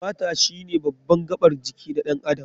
Fata shine baban gabar jiki na ɗan adam.